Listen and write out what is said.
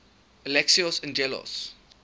alexios angelos